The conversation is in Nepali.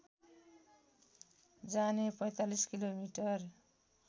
जाने ४५ किलोमिटर